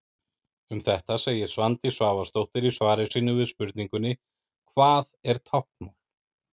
Um þetta segir Svandís Svavarsdóttir í svari sínu við spurningunni: Hvað er táknmál?